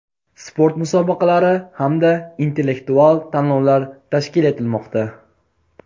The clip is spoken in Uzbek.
sport musobaqalari hamda intellektual tanlovlar tashkil etilmoqda.